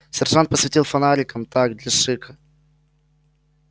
сержант посветил фонариком так для шика